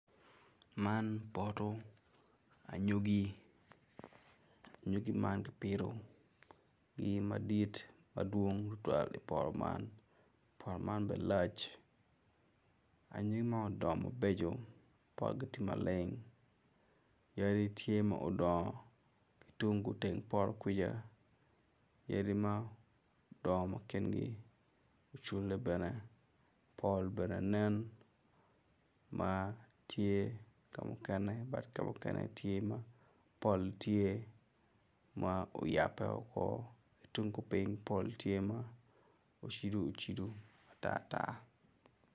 Man poto anyogi anyogi man ki pitogi madit madwong tutwal i poto man poto man be lac anyogi man odongo mabeco potgi tye maleng yadi tye ma udongo ki tung ku teng poto kwija yadi man udongo ma kingi ocule bene pol bene nen ma tye kamo kekene ka mukene tye ma pol tye ma oyapeo ki tung kuping pol tye ma ucidu ucidu atata